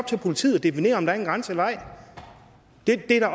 til politiet at definere om der er en grænse eller ej det er